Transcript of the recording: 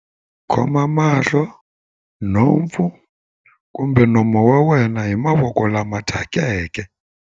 Khoma mahlo, nhompfu kumbe nomo wa wena hi mavoko lama thyakeke.